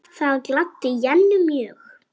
Það gladdi Jennu mjög.